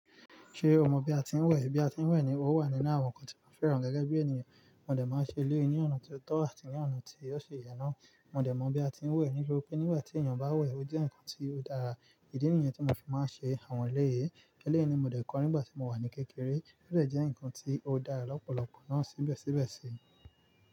Ṣé o mọ bí a ti ń wẹ̀? Bí a ti ń wẹ̀ ni ó wà nínú àwọn nǹkan tí mo fẹ́ràn gẹ́gẹ́ bí ènìyàn. Mo dẹ̀ máa ń ṣe eléyìí ní ọ̀nà ti ó tọ́ àti ní ọ̀nà tí ósi yẹ náà. Mo dẹ̀ mọ bí a ti ń wẹ̀ nítori pé nígbà tí èèyàn bá wẹ̀, ó jẹ́ nǹkan tí ó dára. Idí nì yen tí mo fi máa ń ṣe àwọn eleyìí, eléyìí ni mo dẹ̀ kọ́ nígbà tí mo wà ní kékeré. Ó dẹ̀ jẹ́ nǹkan tí ó dára lọ́pọ̀lọpọ̀ náà síbẹ̀síbẹ̀ sí.